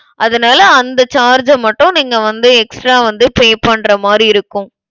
அதனால அந்த charge அ மட்டும் நீங்க வந்து extra வந்து pay பண்ற மாதிரி இருக்கும்.